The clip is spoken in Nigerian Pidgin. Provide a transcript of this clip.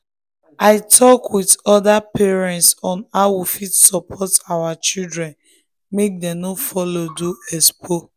i talk with with other parents on how we fit support our children make dem no follow do expo.